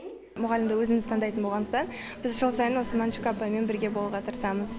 мұғалімді өзіміз таңдайтын болғандықтан біз жыл сайын осы мәншүк апаймен бірге болуға тырысамыз